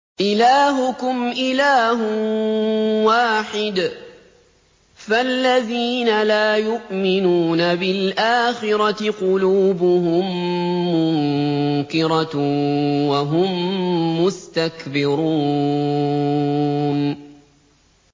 إِلَٰهُكُمْ إِلَٰهٌ وَاحِدٌ ۚ فَالَّذِينَ لَا يُؤْمِنُونَ بِالْآخِرَةِ قُلُوبُهُم مُّنكِرَةٌ وَهُم مُّسْتَكْبِرُونَ